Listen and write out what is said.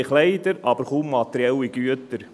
Sie haben Kleider, aber kaum materielle Güter.